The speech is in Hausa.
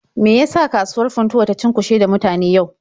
Me ya sa kasuwar Funtuwa ta cunkushe da mutane yau?